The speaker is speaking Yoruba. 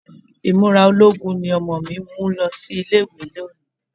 Ìmúra ológun ni ọmọ mi mú lo ilé-ìwé lónìí